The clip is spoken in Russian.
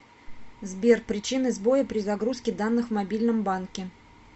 сбер причины сбоя при загрузке данных в мобильном банке